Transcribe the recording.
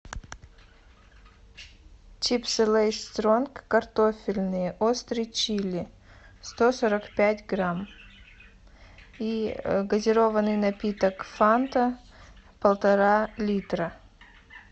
чипсы лейс стронг картофельные острый чили сто сорок пять грамм и газированный напиток фанта полтора литра